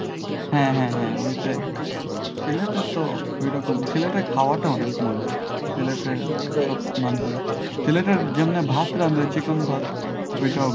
হ্যাঁ হ্যাঁ হ্যাঁ ঐটাই। সিলেটের তো ঐরকম সিলেটের খাওয়াটা অনেক মজার। সিলেটে মানি সিলেটে যেমনে ভাত রান্না করে চিকন ভাত ঐটাও